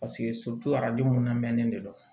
Paseke arajo mun na ne de don